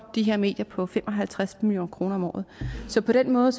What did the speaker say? de her medier på fem og halvtreds million kroner om året så på den måde